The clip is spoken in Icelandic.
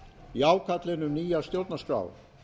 í ákallinu um nýja stjórnarskrá